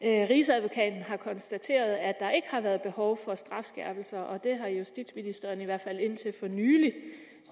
rigsadvokaten har konstateret at der ikke har været behov for strafskærpelser og det har justitsministeren i hvert fald indtil for nylig